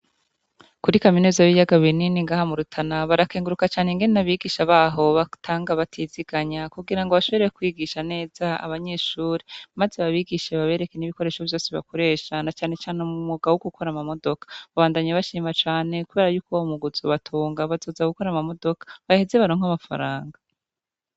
Kuri kaminuza y'ibiyaga binini ngaha mu Rutana barakenguruka cane ingene abigisha baho batanga batiziganya kugira ngo bashobore kwigisha neza abanyeshure, maze babigishe babereke n'ibikoresho vyose bakoresha, na cane cane mu mwuga wo gukora amamodoka. Babandanya bashima cane kubera yuko uwo mwuga uzobatunga. Bazoza gukora amamodoka, baheze baronka amafaranga.